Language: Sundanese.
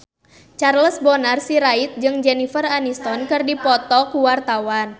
Charles Bonar Sirait jeung Jennifer Aniston keur dipoto ku wartawan